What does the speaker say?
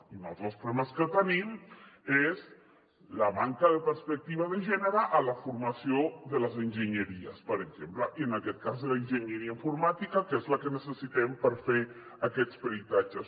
i un altre dels problemes que tenim és la manca de perspectiva de gènere a la formació de les enginyeries per exemple i en aquest cas de l’enginyeria informàtica que és la que necessitem per fer aquests peritatges